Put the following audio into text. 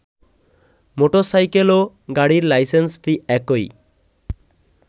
মোটরসাইকেলও গাড়ির licence fee একই